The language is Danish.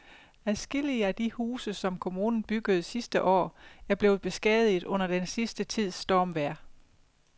Adskillige af de huse, som kommunen byggede sidste år, er blevet beskadiget under den sidste tids stormvejr.